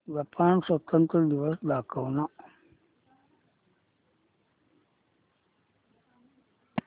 Japan स्वातंत्र्य दिवस दाखव ना